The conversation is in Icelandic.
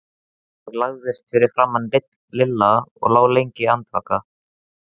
Ég lagðist fyrir framan Lilla og lá lengi andvaka.